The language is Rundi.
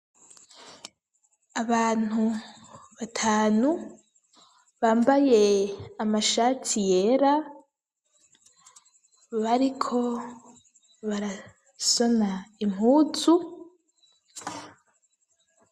Abantu batanu bambaye amashati yera bariko barasona impuzu.